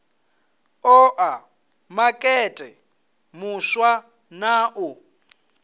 oa makete muswa na u